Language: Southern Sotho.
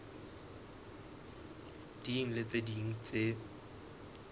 ding le tse ding tse